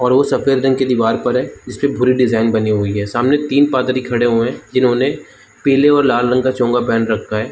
और वो सफेद रंग की दीवार पर है जिस पे पुरे डिजाइन बनी और सामने तन पादरी करेगा जिन्होंने पीले और लाल रंग का चोंगा पर रखा है।